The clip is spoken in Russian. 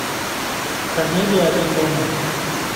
комедия один дома